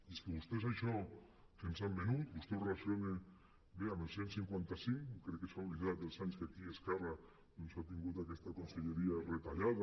i és que vostès això que ens han venut vostè ho relaciona bé amb el cent i cinquanta cinc crec que s’ha oblidat dels anys que aquí esquerra doncs ha tingut aquesta conselleria retallada